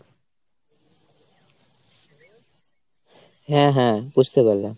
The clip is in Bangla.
হ্যাঁ হ্যাঁ বুঝতে পারলাম।